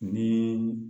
Ni